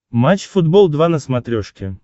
матч футбол два на смотрешке